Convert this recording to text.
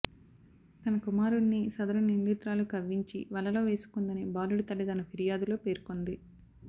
తన కుమారుణ్ణి సదరు నిందితురాలు కవ్వించి వలలో వేసుకుందని బాలుడి తల్లి తన ఫిర్యాదులో పేర్కొంది